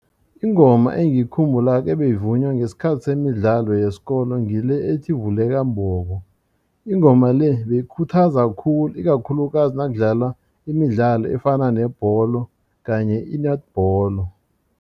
Ingoma engiyikhumbulako ebeyivunywa ngesikhathi semidlalo yesikolo ngile ethi vuleka mbobo ingoma le beyikhuthaza khulu ikakhulukazi nakudlalwa imidlalo efana nebholo kanye i-netball.